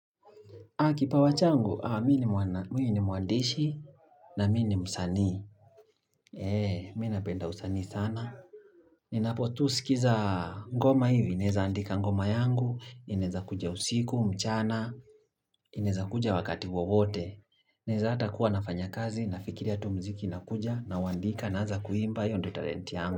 Kipawa changu? Mimi ni mwandishi na msanii. Eee, mimi ninapenda usanii sana. Ninaposikiliza ngoma hivi, ninaweza andika ngoma yangu, inaweza kuja usiku, mchana, inaweza kuja wakati wowote. Naweza hata kuwa nafanya kazi, nafikiria tu muziki unakuja, nauandika, naanza kuimba, hiyo ndiyo talent yangu.